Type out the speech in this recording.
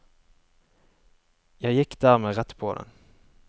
Jeg gikk dermed rett på den.